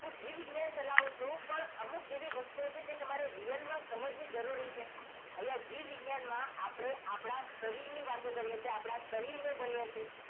હું જીવ વિજ્ઞાન ચલાવું છું પણ અમુક એવી વસ્તુઓ છે જે તમારે real માં સમજવી જરૂરી છે અહિયાં જીવ વિજ્ઞાનમાં આપણે આપણા શરીરની વાતો કરીએ છીએ આપણા શરીરને ભણીએ છીએ